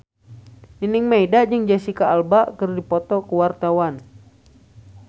Nining Meida jeung Jesicca Alba keur dipoto ku wartawan